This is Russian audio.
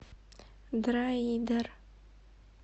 дроидер